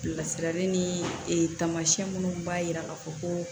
Bilasirali ni taamasiyɛn minnu b'a jira k'a fɔ ko